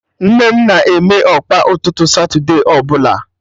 Nne m na-eme Ọkpa ụtụtụ satude ọbụla